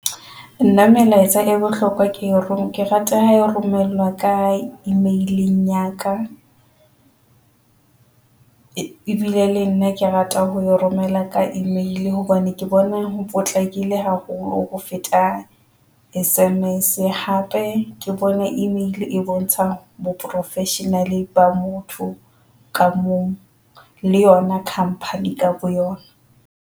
Nna melaetsa e bohlokwa ke roma. Ke rata ha e romelwa ka email-ing ya ka ebile le nna ke rata ho romela ka Email hobane ke bona ho potlakile haholo ho feta S_M_S. Hape ke bona Email e bontsha bo professional ba motho ka mong le yona company ka bo yona.